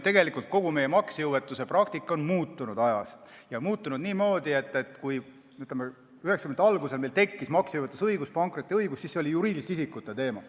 Tegelikult on ju meie maksejõuetuse praktika ajas muutunud ja see on muutunud niimoodi, et kui 1990-ndate alguses meil tekkis maksejõuetusõigus, pankrotiõigus, siis see oli juriidiliste isikute teema.